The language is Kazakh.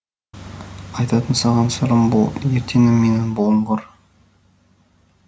айтатын саған сырым бұл ертеңім менің бұлыңғыр